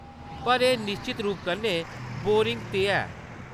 पर एह्‌‌ निश्चत रूप कन्नै बोरिङ ते ऐ।